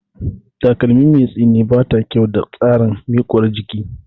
Takalmi mai tsini bata da kyau ga tsarin miƙuwar jiki